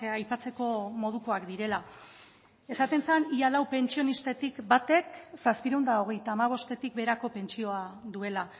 aipatzeko modukoak direla esaten zen ia lau pentsionistatik batek zazpiehun eta hogeita hamabostetik beherako pentsioa duela